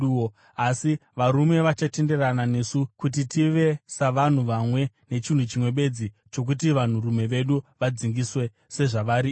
Asi varume vachatenderana nesu kuti tive savanhu vamwe nechinhu chimwe bedzi, chokuti vanhurume vedu vadzingiswe, sezvavari ivo.